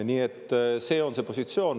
Nii et see on see positsioon.